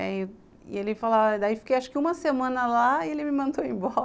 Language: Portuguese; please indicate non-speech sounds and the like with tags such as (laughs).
E ele falava, daí fiquei acho que uma semana lá e ele me mandou (laughs) embora.